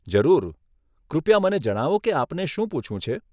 જરૂર, કૃપયા મને જણાવો કે આપને શું પૂછવું છે.